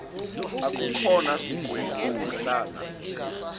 akukhona sikweni ukuhlala